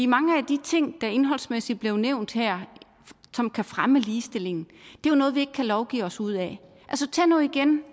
mange af de ting der indholdsmæssigt blev nævnt her som kan fremme ligestillingen er jo noget vi ikke kan lovgive os ud af tag nu igen